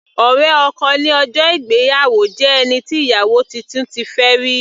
Ọ̀rẹ́ ọkọ ní ọjọ́ ìgbéyàwó jẹ́ ẹni tí ìyàwó titun ti fẹ́ rí.